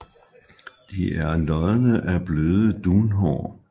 De er lodne af bløde dunhår